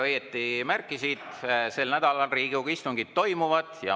Väga õigesti märkisid: sel nädalal Riigikogu istungid toimuvad.